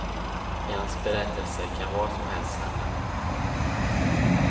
I hans berättelser kan vad som helst kan hända.